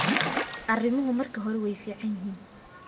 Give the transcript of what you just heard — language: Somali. Arimuhu marka hore way fiican yihiin.